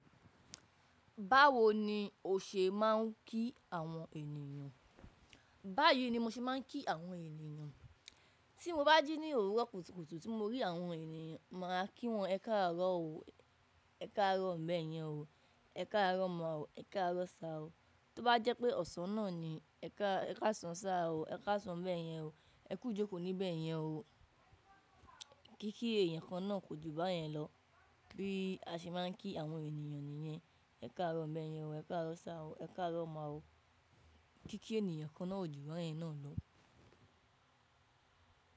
Báwo ni o ṣe máà ń kí àwọn ènìyàn? Báyìí ni mo ṣe máà ń kí àwọn ènìyàn. Tí mo bá jí ní òwúrọ̀ kùtùkùtù tí mo rí àwọn ènìyàn, mà á kí wọn, “ẹkáàárọ̀ o, ẹkáàárọ̀ ńbẹ́ yẹn o, ẹkáàárọ̀ mà o, ẹkáàárọ̀ sá o”. Tóbá jẹ́ pé ọ̀sán náà ni, “ẹkáàsán sá o, ẹkáàsán ńbẹ́ yẹn o, ẹkú ijókò níbẹ́ yẹn o”. Kíkí èèyàn kan náà kò jù báyẹn lọ. Bí a ṣe máà ń kí àwọn ènìyàn nìyẹn. “Ẹkáàárọ̀ ńbẹ́ yẹn o, ẹkáàárọ̀ sá o, ẹkáàárọ̀ mà o”. Kíkí ènìyàn kan náà kò jù báyẹn náà lọ.